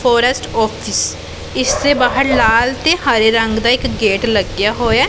Forest office ਇਸ ਦੇ ਬਾਹਰ ਲਾਲ ਤੇ ਹਰੇ ਰੰਗ ਦਾ ਇੱਕ ਗੇਟ ਲੱਗਿਆ ਹੋਇਐ।